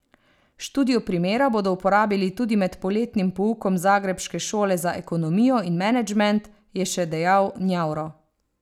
Študijo primera bodo uporabili tudi med poletnim poukom zagrebške šole za ekonomijo in menedžement, je še dejal Njavro.